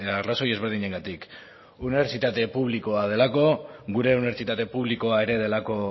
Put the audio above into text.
arrazoi ezberdinengatik unibertsitate publikoa delako gure unibertsitate publikoa ere delako